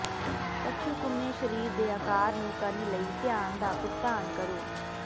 ਕੱਛੂਕੁੰਮੇ ਸਰੀਰ ਦੇ ਆਕਾਰ ਨੂੰ ਕਰਨ ਲਈ ਧਿਆਨ ਦਾ ਭੁਗਤਾਨ ਕਰੋ